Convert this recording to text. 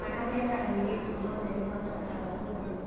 Anake na airĩtu othe nĩ mabataraga kwendwo